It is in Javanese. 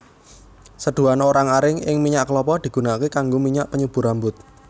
Seduhan orang aring ing minyak kelapa digunakaké kanggo minyak penyubur rambut